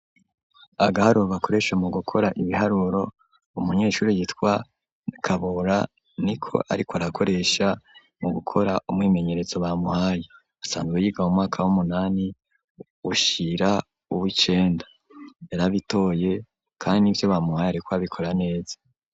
Agaharuro bakoresha mu gukora ibiharuro umunyeshuri gitwa kabora ni ko ariko arakoresha mu gukora umwimenyeretso bamuhaye asanzwe yiga mu mwaka w'umunani ushira uw'icenda yarabitoye kandi nivyo bamuhaye ariko abikora neza.